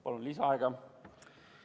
Palun lisaaega!